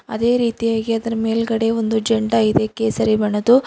ಅದೇ ರೀತಿ ಆಗಿ ಅದರ ಮೇಲೆಗಡೆ ಒಂದು ಝಂಡಾ ಇದೆ ಕೇಸರಿ ಬಣ್ಣದು.